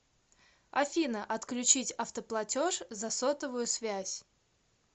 афина отключить автоплатеж за сотовую связь